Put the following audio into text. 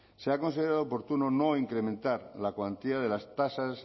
se ha considerado oportuno no incrementar la cuantía de las tasas